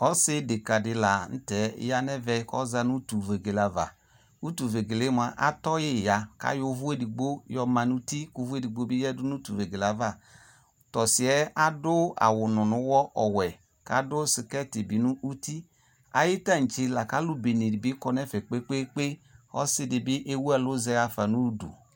Ɔse odeka de lantɛ ya no ɛvɛ kɔza no utuvegele avaUtuvegeleɛ moa atɔ ye ya ko ayɔ uvu edigbo yɔ ma no uti ko uvu edugbo be yadu no utuvegele ava To ɔsiɛ ado awununuwɔ ɔwɛ ko ado sikɛti be no uti Aye tantse la ko alu bene ne be do ɛfɛ kpekoe Ɔse de be ewu ɔlu yafa no udu